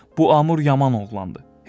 bu Amur yaman oğlandı.